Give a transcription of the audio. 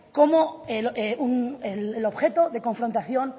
como el objeto de confrontación